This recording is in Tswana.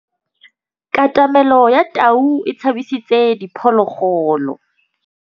Katamêlô ya tau e tshabisitse diphôlôgôlô.